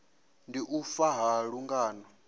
ndi u fa ha lungano